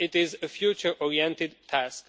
It is a future oriented